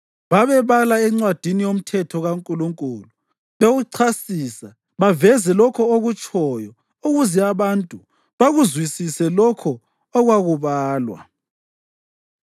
Babebala eNcwadini yoMthetho kaNkulunkulu, bewuchasisa baveze lokho okutshoyo ukuze abantu bakuzwisise lokho okwakubalwa.